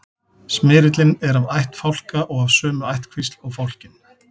smyrillinn er af ætt fálka og af sömu ættkvísl og fálkinn